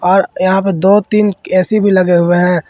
और यहां पर दो तीन ए_सी भी लगे हुए हैं।